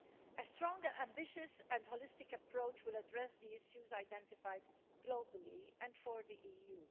A stronger, ambitious and holistic approach will address the issues identified globally and for the EU.